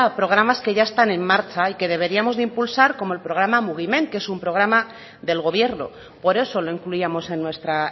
programas que ya están en marcha y que deberíamos de impulsar como el programa mugimen que es un programa del gobierno por eso lo incluíamos en nuestra